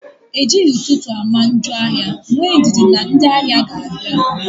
Ejighị ụtụtụ ama njọ ahịa, nwee ndidi na ndị ahịa ga-abịa